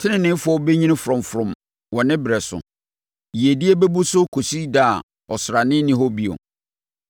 Teneneefoɔ bɛnyini frɔmfrɔm wɔ ne berɛ so; yiedie bɛbu so kɔsi da a ɔsrane nni hɔ bio.